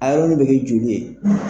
A yɔrɔnin bɛ kɛ joli ye.